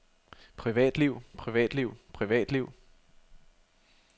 privatliv privatliv privatliv